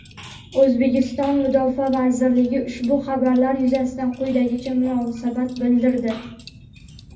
O‘zbekiston Mudofaa vazirligi ushbu xabarlar yuzasidan quyidagicha munosabat bildirdi:.